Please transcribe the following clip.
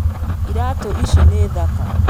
Iratũici nĩ thaka